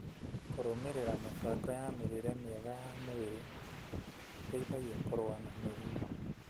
kũrũmĩrĩra mĩbango ya mĩrĩĩre mĩega ya mwĩrĩ gũteithagia kũrũa na mĩrimũ.